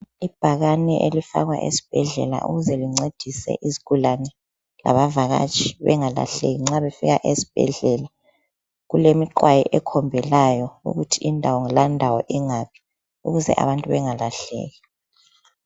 Ibhakane elifakwa esbhedlela ukuze lincedise izigulane labavakatshi bengalahleki nxa befika esbhedlela. Kulemiqwayi ekhombelayo ukuthi indawo landawo ingaphi ukuze abantu bengalahleki.